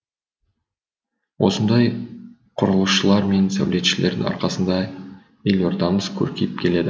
осындай құрылысшылар мен сәулетшілердің арқасында елордамыз көркейіп келеді